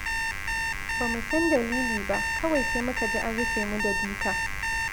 Bamu san dalili ba, kawai sai muka ji an rufe mu da duka.